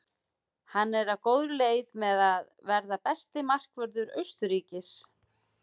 Hann er á góðri leið með að verða besti markvörður Austurríkis.